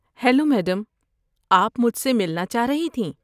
Hello madam, آپ مجھ سے ملنا چاہ رہی تھیں؟